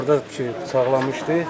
Orada bıçaqlamışdı.